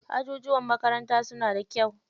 Ajujuwan makarantar suna da kyau.